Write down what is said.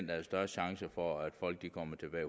der er størst chance for at folk kommer